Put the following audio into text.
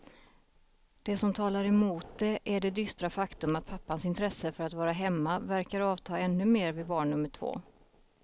Det som talar emot det är det dystra faktum att pappans intresse för att vara hemma verkar avta ännu mer vid barn nummer två.